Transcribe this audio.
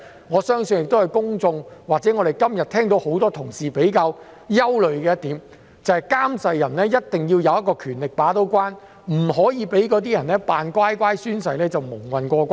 我相信這是公眾或很多同事今天比較憂慮的一點，他們認為監誓人必須有權把關，不可讓"扮乖乖"宣誓的人蒙混過關。